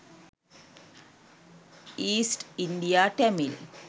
east india tamil